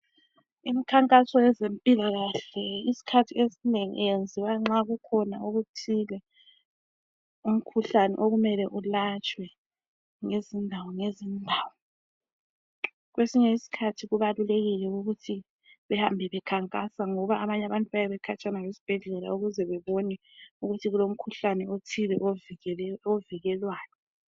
Imkhankaso yezempilakahle isikhathi esinengi iyenziwa nxa kukhona okuthile umkhuhlane okumele ulatshwe ngezindawo ngezindawo kwesinye isikhathi kubalulekile ukuthi behamba bekhankasa ngoba abanye abantu bayabe bekhatshana lesibhedlela ukuze bebone ukuthi kulomkhuhlane othile ovikelwayo